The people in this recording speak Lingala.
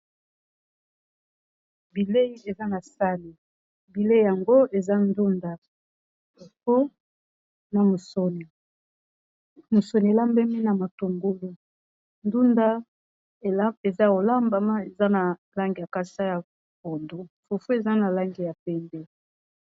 Bilei eza na sani bilei yango eza ndunda mpo na musuni, musuni elambemi na matongolu ndunda eza olambama eza na langi a kasa ya pondu fufu eza na langi ya pembe .